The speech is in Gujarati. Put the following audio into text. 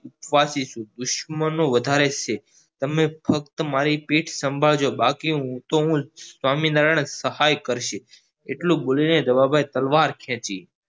દુસ્મનો વધારે છે તમે ફક્ત મારી પીઠ સંભાળજો બાકી હૂતો હું સ્વામિનારાયણ સહાય કરશે એટલું બોલિને રવાભાઈ તલવાર ખેંચી